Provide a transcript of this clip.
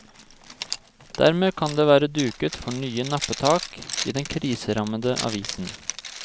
Dermed kan det være duket for nye nappetak i den kriserammede avisen.